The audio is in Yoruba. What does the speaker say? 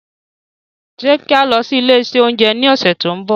Ṣe ki a lọ si ile ounjẹ ni ọsẹ to nbọ?